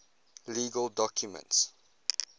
legal documents